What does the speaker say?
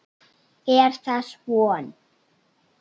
Er þess von?